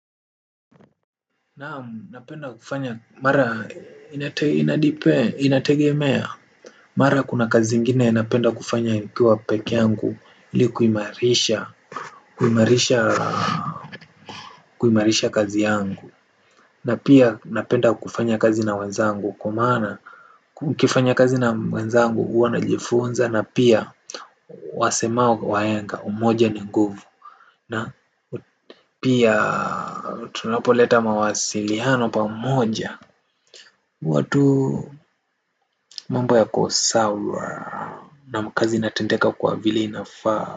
Naamu napenda kufanya mara inate inadepend inategemea mara kuna kazi ingine napenda kufanya nikiwa peke yangu ili kuimarisha kuimarisha kuimarisha kazi yangu na pia napenda kufanya kazi na wenzangu kwa maana nikifanya kazi na mwenzangu huwa najifunza na pia wasemao wahenga umoja ni nguvu na pia tunapoleta mawasiliano pamoja huwa tuh mambo yako sawa naam kazi inatendeka kwa vile inafaa.